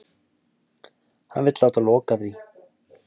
Hann vill láta loka því.